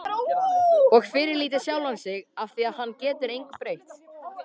Og fyrirlíti sjálfan sig afþvíað hann getur engu breytt.